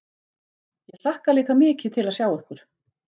Ég hlakka líka mikið til að sjá ykkur